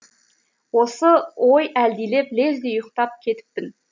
осы ой әлдилеп лезде ұйықтап кетіппін